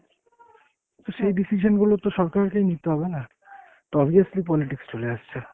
তো সেই decision গুলো তো সরকারকেই নিতে হবে না, তো obviously politics চলে আসছে।